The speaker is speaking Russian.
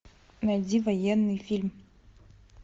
найди военный фильм